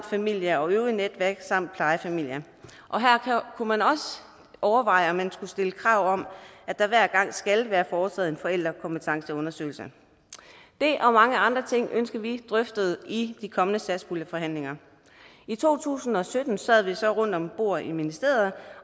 familie og øvrige netværk samt plejefamilie her kunne man også overveje om man skulle stille krav om at der hver gang skal være foretaget en forældrekompetenceundersøgelse det og mange andre ting ønsker vi drøftet i de kommende satspuljeforhandlinger i to tusind og sytten sad vi så rundt om bordet i ministeriet